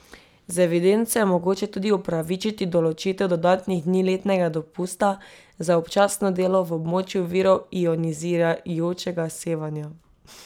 Z evidenco je mogoče tudi upravičiti določitev dodatnih dni letnega dopusta za občasno delo v območju virov ionizirajočega sevanja.